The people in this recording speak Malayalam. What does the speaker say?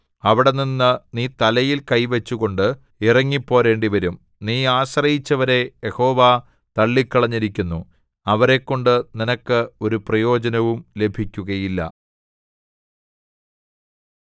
അവിടെനിന്ന് നീ തലയിൽ കൈ വച്ചുകൊണ്ട് ഇറങ്ങിപ്പോരേണ്ടിവരും നീ ആശ്രയിച്ചവരെ യഹോവ തള്ളിക്കളഞ്ഞിരിക്കുന്നു അവരെക്കൊണ്ട് നിനക്ക് ഒരു പ്രയോജനവും ലഭിക്കുകയില്ല